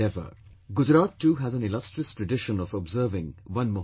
Gujarat too has an illustrious tradition of observing Van Mahotsav